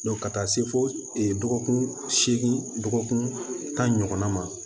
ka taa se fo dɔgɔkun seegin dɔgɔkunna ma